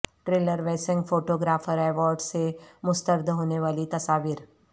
tailor Wessing photographic awards سے مسترد ہونے والی تصاویر